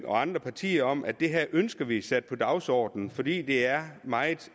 og andre partier om at det her ønsker vi sat på dagsordenen fordi det er meget